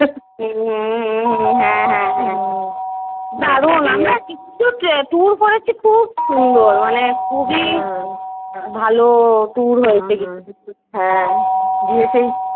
হুম হুম হুম হ্যা হ্যা হ্যা দারুন আমরা কিন্তু Tour করেছি খুব সুন্দর মানে খুবই ভালো Tour হয়েছে কিন্তু হ্যা গিয়ে সেই